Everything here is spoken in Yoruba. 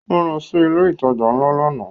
Ó lọ sí ilé ìtajà ńlá lánàá